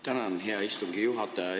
Tänan, hea istungi juhataja!